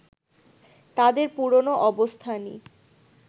তাদের পুরোনো অবস্থানই